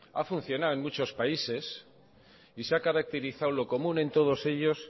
ha funcionado en muchos países y se ha caracterizado lo común en todos ellos